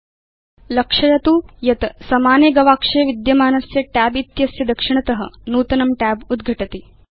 भवान् लक्षयति यत् समाने गवेषक गवाक्षे विद्यमानस्य tab इत्यस्य दक्षिणत नूतनं tab उद्घटति